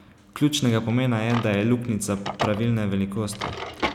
Ključnega pomena je, da je luknjica pravilne velikosti.